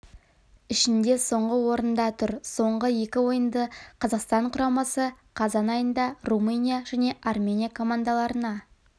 ішінде соңғы орында тұр соңғы екі ойынды қазақстан құрамасы қазан айында румыния және армения командаларына